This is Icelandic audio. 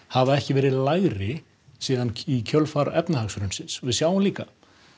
hafa ekki verið lægri síðan í kjölfar efnahagshrunsins við sjáum líka